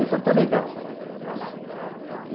Então está legal, né.